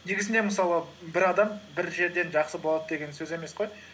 негізінде мысалы бір адам бір жерден жақсы болады деген сөз емес қой